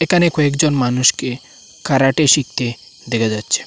এখানে কয়েকজন মানুষকে ক্যারাটে শিখতে দেখা যাচ্ছে।